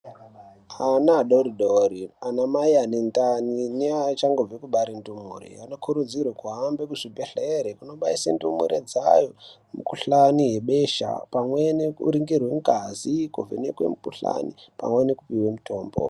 Ana adodori anamai anedhani neachangobve kubare ndumure anokurudzirwa kuhamba muzvigwehlere kunobaise dhumure dzayo mukohlani yebesha pamwe nekuningirwe ngazi ,kuvhenekwe mukuhlani pamwe nekupihwe mutombo.